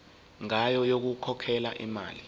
ngayo yokukhokhela imali